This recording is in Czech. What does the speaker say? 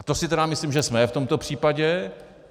A to si tedy myslím, že jsme v tomto případě.